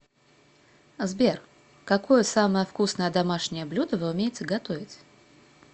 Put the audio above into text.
сбер какое самое вкусное домашнее блюдо вы умеете готовить